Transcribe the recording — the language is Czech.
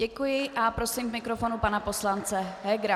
Děkuji a prosím k mikrofonu pana poslance Hegera.